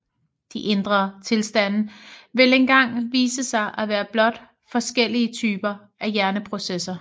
De indre tilstande vil engang vise sig at være blot forskellige typer af hjerneprocesser